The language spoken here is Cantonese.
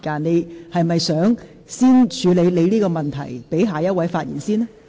你是否想先處理你的問題，讓下一位議員先發言？